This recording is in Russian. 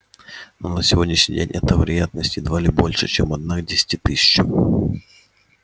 но на сегодняшний день эта вероятность едва ли больше чем одна к десяти тысячам